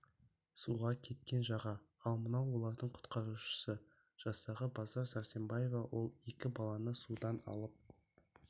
суға кеткен жаға ал мынау олардың құтқарушысы жастағы базар сәрсенбаева ол екі баланы судан алып